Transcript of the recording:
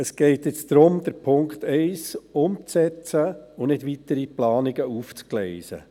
Es geht nun darum, Punkt 1 umzusetzen und nicht darum, weitere Planungen aufzugleisen.